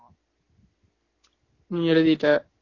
எழுதிட்ட